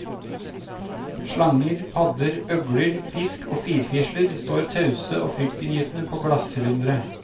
Slanger, padder, øgler, fisk og firfisler står tause og fryktinngytende på glassylindere.